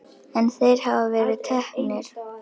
En þeir hafa verið teknir.